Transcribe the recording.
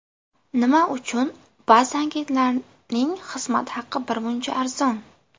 Nima uchun ba’zi agentlarning xizmat haqi birmuncha arzon?